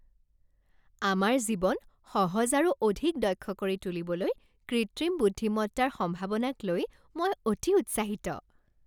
আমাৰ জীৱন সহজ আৰু অধিক দক্ষ কৰি তুলিবলৈ কৃত্ৰিম বুদ্ধিমত্তাৰ সম্ভাৱনাক লৈ মই অতি উৎসাহিত।